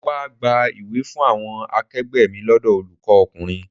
Mo wá gba ìwé fún àwọn akegbe mi lọ́dọ̀ olùkọ́ ọkùnrin.